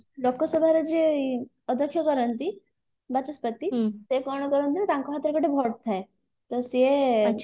ଲୋକସଭାର ଯିଏ ଅଦକ୍ଷକ ରହନ୍ତି ବାଚସ୍ପତି ସେ କଣ କରନ୍ତି ନା ତାଙ୍କ ହାତରେ ଗୋଟେ vote ଥାଏ ତ ସିଏ